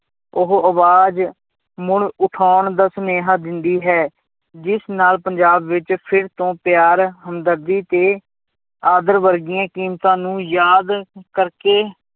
ਉਹ ਆਵਾਜ਼ ਮੁੜ ਉਠਾਉਣ ਦਾ ਸੁਨੇਹਾਂ ਦਿੰਦੀ ਹੈ, ਜਿਸ ਨਾਲ ਪੰਜਾਬ ਵਿੱਚ ਫਿਰ ਤੋਂ ਪਿਆਰ ਹਮਦਰਦੀ ਤੇ ਆਦਰ ਵਰਗੀਆਂ ਕੀਮਤਾਂ ਨੂੰ ਯਾਦ ਕਰਕੇ